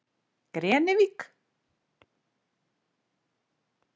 Grenivík